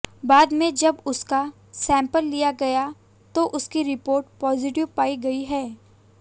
बाद में जब उसका सैंपल लिया गया तो इसकी रिपोर्ट पॉजिटिव पाई गई है